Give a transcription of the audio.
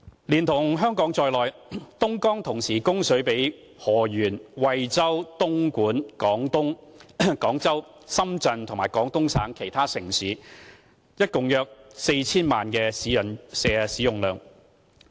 連同香港在內，東江同時供水給河源、惠州、東莞、廣州、深圳及廣東省其他城市共約 4,000 萬人使用。